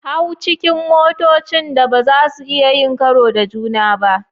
Hau cikin motocin da ba za su iya yin karo da juna ba.